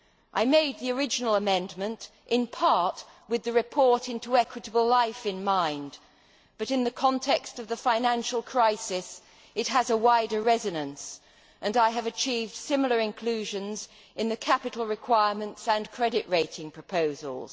I made the original amendment in part with the report on Equitable Life in mind, but in the context of the financial crisis it has a wider resonance and I have achieved similar inclusions in the capital requirements and credit rating proposals.